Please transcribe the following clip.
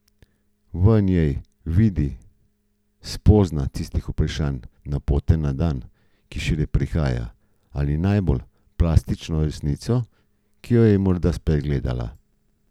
V njej vidi in spozna tisti pravšnji napotek za dan, ki šele prihaja, ali najbolj plastično resnico, ki jo je morda spregledala.